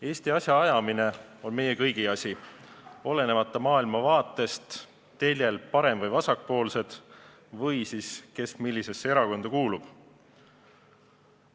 Eesti asja ajamine on meie kõigi asi, olenemata maailmavaatest teljel parem- või vasakpoolsed või sellest, kes millisesse erakonda kuulub.